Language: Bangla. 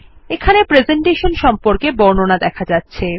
এখানে প্রেসেন্টেশন সম্পর্কে বর্ণনা দেখা যাচ্ছে